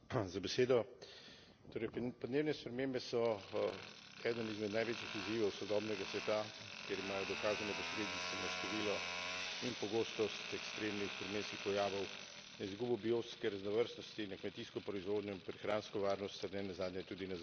Torej podnebne spremembe so eden izmed največjih izzivov sodobnega sveta, ker imajo dokazane posledice na število in pogostost ekstremnih vremenskih pojavov, na izgubo biotske raznovrstnosti, na kmetijsko proizvodnjo in prehransko varnost ter ne nazadnje tudi na zdravje ljudi.